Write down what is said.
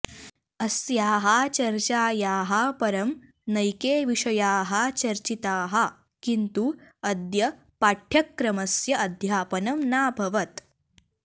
अस्याः चर्चायाः परं नैके विषयाः चर्चिताः किन्तु अद्य पाठ्यक्रमस्य अध्यापनं नाभवत्